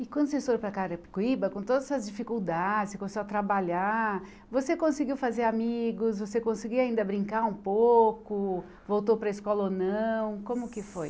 E quando vocês foram para Carapicuíba, com todas as dificuldades, você começou a trabalhar, você conseguiu fazer amigos, você conseguiu ainda brincar um pouco, voltou para a escola ou não, como que foi?